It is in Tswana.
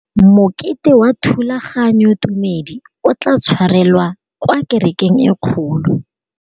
Mokete wa thulaganyôtumêdi o tla tshwarelwa kwa kerekeng e kgolo.